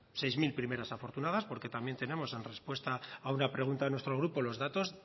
seis mil primeras afortunadas porque también tenemos en respuesta a una pregunta de nuestro grupo los datos